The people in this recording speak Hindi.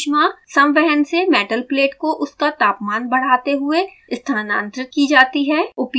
यह ऊष्मा संवहन से मेटल प्लेट को उसका तापमान बढ़ाते हुए स्थानांतरित की जाती है